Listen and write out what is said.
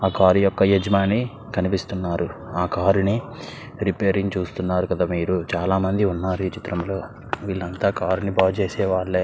ఆ కార్ ఒక అజుమని కనిపిస్తునారు ఆ కార్ రేపరింగ్ చుస్తునారు కదా మేరు చాల మంది వున్నారు ఈ చిత్రం లో విల్లు అంతా కార్ ని బాగు చేసే వల్లే.